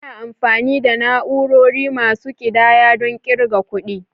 Ana amfani da na'urori masu ƙidaya don ƙirga kuɗi.